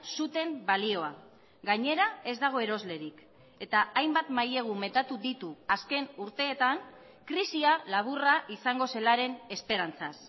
zuten balioa gainera ez dago eroslerik eta hainbat mailegu metatu ditu azken urteetan krisia laburra izango zelaren esperantzaz